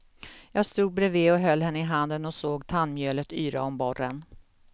Jag stod bredvid och höll henne i handen och såg tandmjölet yra om borren.